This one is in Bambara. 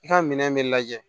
I ka minɛn bɛ lajɛ